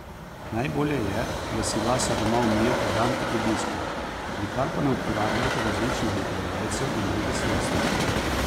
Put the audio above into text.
Najbolje je, da si lase doma umijete dan pred obiskom, nikar pa ne uporabljajte različnih utrjevalcev in drugih sredstev.